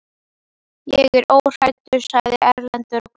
Ég er óhræddur, sagði Erlendur og glotti.